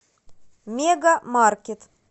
мега маркет